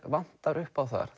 vantar upp á þar